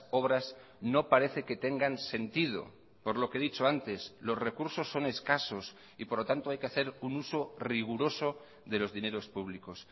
obras no parece que tengan sentido por lo que he dicho antes los recursos son escasos y por lo tanto hay que hacer un uso riguroso de los dineros públicos